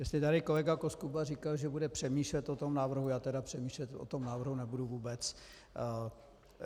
Jestli tady kolega Koskuba říkal, že bude přemýšlet o tom návrhu, já tedy přemýšlet o tom návrhu nebudu vůbec.